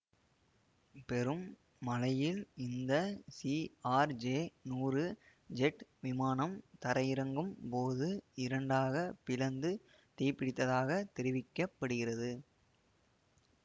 பெரும் மழையில் இந்த சிஆர்ஜெநூறு ஜெட் விமானம் தரையிறங்கும் போது இரண்டாக பிளந்து தீப்பிடித்ததாகத் தெரிவிக்க படுகிறது